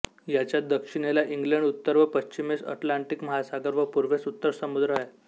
याच्या दक्षिणेला इंग्लंड उत्तर व पश्चिमेस अटलांटिक महासागर व पूर्वेस उत्तर समुद्र आहेत